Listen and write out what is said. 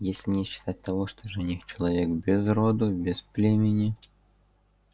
если не считать того что жених-человек без роду без племени